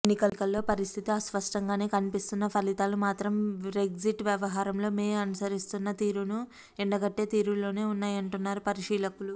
ఎన్నికలలో పరిస్థితి అస్పష్టంగానే కన్పిస్తున్నా ఫలితాలు మాత్రం బ్రెగ్జిట్ వ్యవహారంలో మే అనుసరిస్తున్న తీరును ఎండగట్టే తీరులోనే వున్నాయంటున్నారు పరిశీలకులు